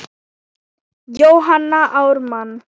Jóhanna Ármann.